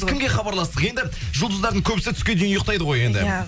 кімге хабарластық енді жұлдыздардың көбісі түске дейін ұйықтайды ғой енді иә